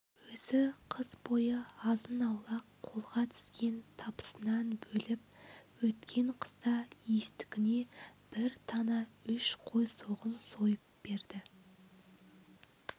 өзі қыс бойы азын-аулақ қолға түскен табысынан бөліп өткен қыста иістікіне бір тана үш қой соғым сойып берді